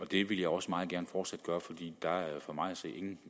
det vil jeg også meget gerne fortsat gøre for